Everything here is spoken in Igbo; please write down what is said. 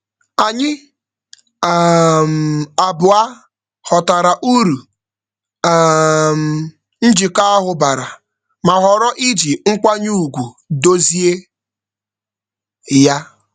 Anyị um abụọ ghọtara uru um njikọ ahụ bara ma ghọrọ iji nkwanye ugwu dozie ya.